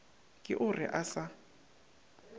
ke o re a sa